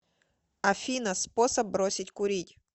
афина способ бросить курить